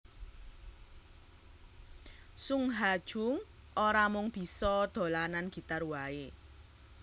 Sung Ha Jung ora mung bisa dolanan gitar waé